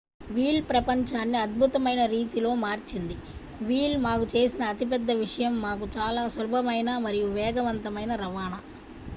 wheel ప్రపంచాన్ని అద్భుతమైన రీతిలో మార్చింది వీల్ మాకు చేసిన అతిపెద్ద విషయం మాకు చాలా సులభమైన మరియు వేగవంతమైన రవాణా